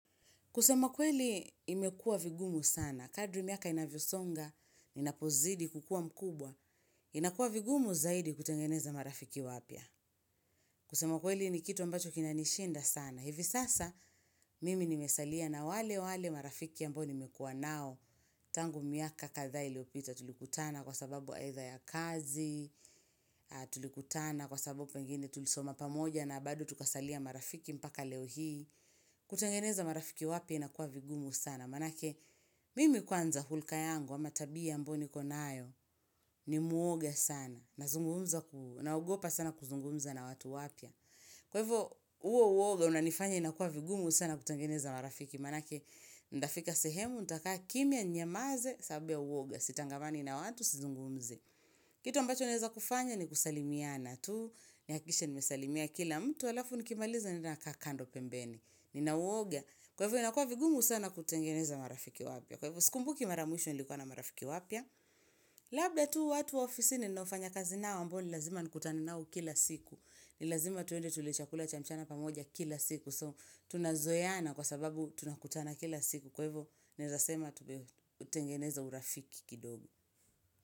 Kusema kweli imekua vigumu sana. Kadri miaka inavyosonga, ninapozidi kukua mkubwa, inakuwa vigumu zaidi kutengeneza marafiki wapya. Kusema kweli ni kitu ambacho kinanishinda sana. Hivi sasa mimi nimesalia na wale wale marafiki ambao nimekua nao. Tangu miaka kadhaa iliyopita tulikutana kwa sababu aidha ya kazi, tulikutana kwa sababu pengine tulisoma pamoja na bado tukasalia marafiki mpaka leo hii. Kutengeneza marafiki wapya inakuwa vigumu sana maanake mimi kwanza hulka yangu ama tabia ambayo niko nayo ni mwoga sana naogopa sana kuzungumza na watu wapya kwa hivo huo uoga unanifanya inakuwa vigumu sana kutengeneza marafiki maanake nitafika sehemu nitakaa kimya ninyamanze sababu ya uoga sitangamani na watu sizungumzi kitu ambacho naeza kufanya ni kusalimiana tu nihakikishe nimesalimia kila mtu alafu nikimaliza naenda nakaa kando pembeni Nina uoga. Kwa hivo inakua vigumu sana kutengeneza marafiki wapya. Kwa hivo sikumbuki mara ya mwisho nilikuwa na marafiki wapya. Labda tu watu wa ofisini ninaofanya kazi nao ambao ni lazima nikutane nao kila siku. Nilazima tuende tule chakula cha mchana pamoja kila siku. So tunazoeana kwa sababu tunakutana kila siku. Kwa hivo naez asema tumetengeneza urafiki kidogo.